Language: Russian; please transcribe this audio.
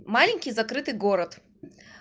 маленький закрытый город